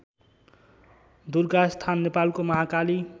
दुर्गास्थान नेपालको महाकाली